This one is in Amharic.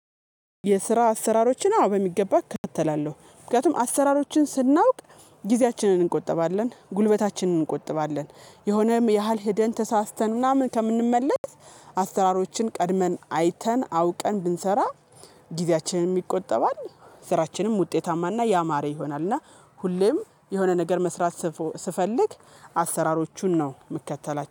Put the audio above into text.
የስራ አሰራሮችን በሚገባ እካተላለሁ ምክንያቱም አሰራሮችን ስናውቅ ጊዜያችንን እንቆጥባለን ጉልበታችንን እንቆጠባለን የሆነም ያህል ሄደን ተሳስተን ምናምን ከምንመለስ አሰሀራሮችን ቀድመን አይተን አውቀን ብንሰራ ጊዜያችንን ይቆጠባል ስራችንም ውጤታማና ያማረ ይሆናል። እና ሁሌም የሆነ ነገር መስራት ስፈልግ አሰራሮቹን ነው መከተላቸው